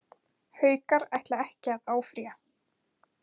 Haukar ætla ekki að áfrýja